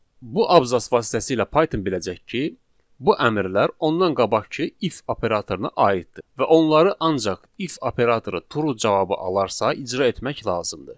Bu abzas vasitəsilə Python biləcək ki, bu əmrlər ondan qabaqkı if operatoruna aiddir və onları ancaq if operatoru true cavabı alarsa icra etmək lazımdır.